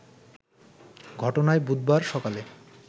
ঘটনায় বুধবার সকালে